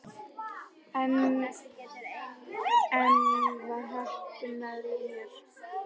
En enn var heppnin með mér.